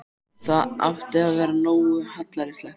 Það átti að vera nógu hallærislegt.